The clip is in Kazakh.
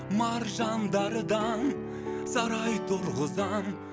маржандардан сарай тұрғызам